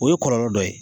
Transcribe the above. O ye kɔlɔlɔ dɔ ye